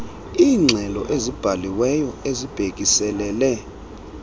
iingxelo ezibhaliweyo ezibhekiselele